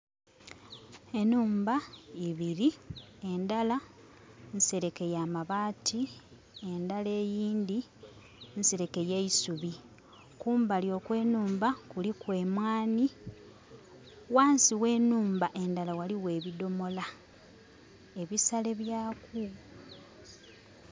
Enhumba ibili, endala nsereke ya mabaati endala eyindhi nsereke ya isubi. Kumbali okw'enhumba kuliku emwanhi, ghansi ghe nhumba endala ghaligho ebidhomola ebisale byaku.